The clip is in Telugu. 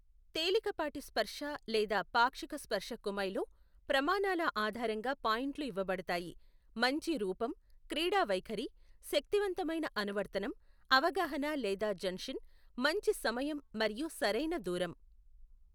తేలికపాటి స్పర్శ లేదా పాక్షిక స్పర్శ కుమైలో, ప్రమాణాల ఆధారంగా పాయింట్లు ఇవ్వబడతాయి, మంచి రూపం, క్రీడా వైఖరి, శక్తివంతమైన అనువర్తనం, అవగాహన లేదా జన్షిన్, మంచి సమయం మరియు సరైన దూరం.